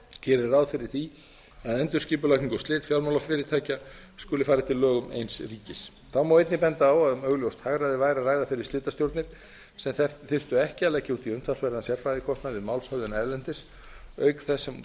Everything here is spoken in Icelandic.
geri ráð fyrir því að endurskipulagning og slit fjármálafyrirtækja skuli fara eftir lögum eins ríkis þá má einnig benda á að um augljóst hagræði væri að ræða fyrir slitastjórnir sem þyrftu ekki að leggja út í umtalsverðan sérfræðikostnað við málshöfðun erlendis auk þess sem